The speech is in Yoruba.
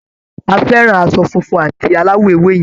A fẹ́ràn aṣọ funfun à̀ti aláwọ̀ ewé yẹn.